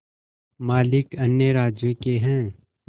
मालिक अन्य राज्यों के हैं